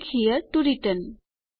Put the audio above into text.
click here to return